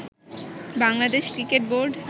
Bangladesh cricket board